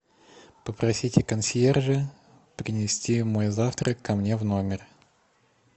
попросите консьержа принести мой завтрак ко мне в номер